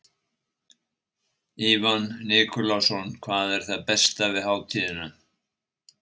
Ívan Nikulásson: Hvað er það besta við hátíðina?